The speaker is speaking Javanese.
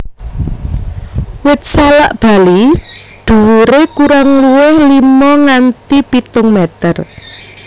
Wit salak Bali dhuwuré kurang luwih lima nganti pitung meter